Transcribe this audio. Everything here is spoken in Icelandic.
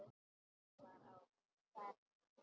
Enginn var á ferli.